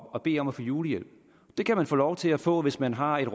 og bede om at få julehjælp det kan man få lov til at få hvis man har et